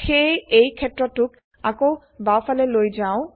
সেয়ে এই ক্ষেত্রটোক আকৌ বাওফালে লৈ যাও